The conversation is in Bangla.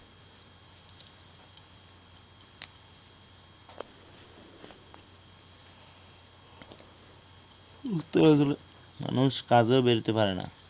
ঘুরতে বের হলে মানুষ কাজেও পারে না